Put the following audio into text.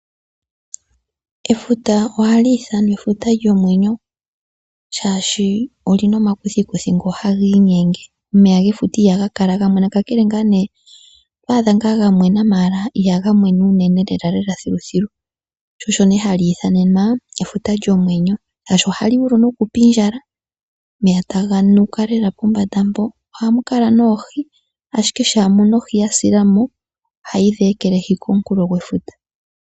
Efuta ohali ithanwa efuta lyomwenyo, oshoka olina omakuthikuthi ngoka haga iinyenge. Omeya ge futa ihaga kala ga mwena, ka kele nga ne to gadha nga gamwena mala ihaga mwena uunene lela thiluthilu, sho osho hali ithanenwa efuta lyomwenyo, oshoka ohali vulu noku pindjala, omeya taga nuka lela pombanda mpo. Ohamu kala noohi, ashike shampa ohi ya silemo, ohayi dhi ekelehi kookunkulo gwefuta.